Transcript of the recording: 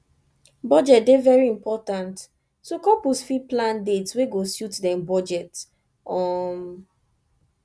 budget dey very important so couples fit plan dates wey go suit dem budget um